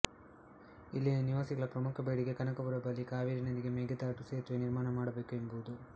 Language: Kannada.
ಇಲ್ಲಿನ ನಿವಾಸಿಗಳ ಪ್ರಮುಖ ಬೇಡಿಕೆ ಕನಕಪುರ ಬಳಿ ಕಾವೇರಿ ನದಿಗೆ ಮೆಕೆದಾಟು ಸೇತುವೆ ನಿರ್ಮಾಣ ಮಾಡಬೇಕು ಎಂಬುದು